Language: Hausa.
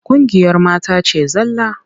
Ƙungiyar mata ce zalla.